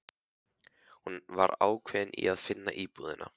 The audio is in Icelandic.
Hún var ákveðin í að finna búðina.